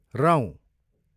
रौँ